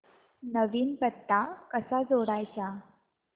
नवीन पत्ता कसा जोडायचा